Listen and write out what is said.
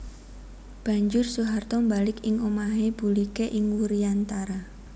Banjur Soeharto mbalik ing omahé buliké ing Wuryantara